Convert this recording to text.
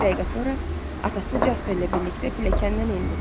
İki dəqiqə sonra atası Jasperlə birlikdə pilləkəndən endi.